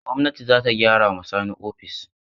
Gwamnati za ta gyara ma Sani ofis.